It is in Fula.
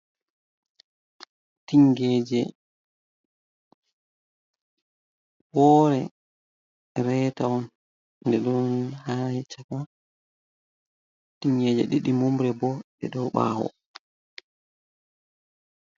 Tingeje, woore reta on. Nde ɗo haa caka. Tingeje ɗiɗi mumre bo, ɗe ɗo ɓawo.